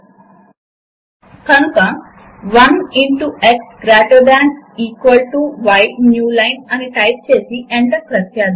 Linux లో మీరు దానిని సినాప్టిక్ ప్యాకేజ్ మేనేజర్ నుంచి కూడా ఇన్స్టాల్ చేసుకోవచ్చు